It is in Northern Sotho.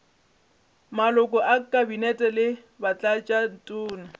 maloko a kabinete le batlatšatona